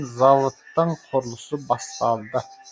зауыттың құрылысы басталды